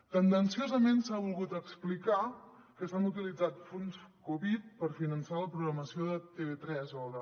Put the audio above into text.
tendenciosament s’ha volgut explicar que s’han utilitzat fons covid per finançar la programació de tv3 o de